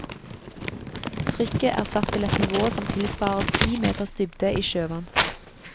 Trykket er satt til et nivå som tilsvarer ti meters dybde i sjøvann.